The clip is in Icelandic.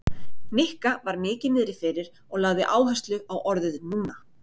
Nikka var mikið niðri fyrir og lagði áherslu á orðið núna.